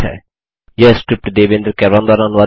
यह स्क्रिप्ट देवेन्द्र कैरवान द्वारा अनुवादित है